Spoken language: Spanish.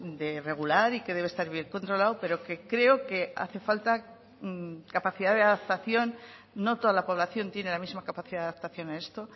de regular y que debe estar bien controlado pero que creo que hace falta capacidad de adaptación no toda la población tiene la misma capacidad de adaptación a esto